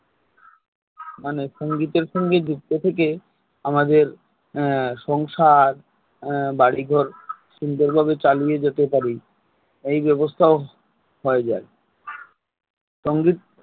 মানে সঙ্গীতের সাথে যুক্ত থেকে আমাদের আহ সংসার আহ বাড়িঘর সুন্দরভাবে চালিয়ে যেতে পারি এই ব্যবস্থা ও হয়ে যায় সঙ্গীত